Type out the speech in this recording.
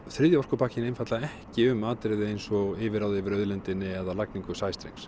þriðji orkupakkinn einfaldlega ekki um atriði eins og yfirráð yfir auðlindinni eða lagningu sæstrengs